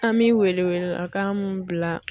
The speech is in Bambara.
An bɛ wele wele lakan mun bila.